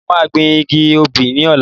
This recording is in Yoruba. Mo máa gbìn igi obi ní ọ̀la